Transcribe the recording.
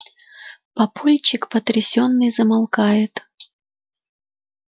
папульчик потрясённый замолкает